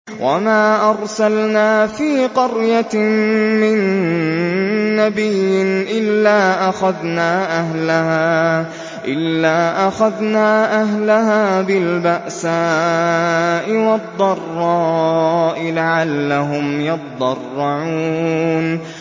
وَمَا أَرْسَلْنَا فِي قَرْيَةٍ مِّن نَّبِيٍّ إِلَّا أَخَذْنَا أَهْلَهَا بِالْبَأْسَاءِ وَالضَّرَّاءِ لَعَلَّهُمْ يَضَّرَّعُونَ